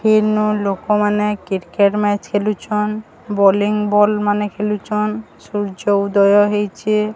ଏଇନୁ ଲୋକମାନେ cricket match ଖେଲୁଛନ୍ ବୋଲିଂ ବଲ୍ ମାନେ ଖେଲୁଚନ୍ ସୂର୍ଯ୍ୟ ଉଦୟ ହେଇଛେ।